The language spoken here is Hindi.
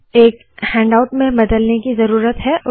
अब इसे एक हैन्डाउट में बदलने की ज़रूरत है